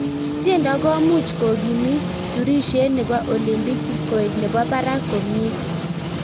tiendo komuch kokimiit turishet nebo olympiki koek nebo barak komie?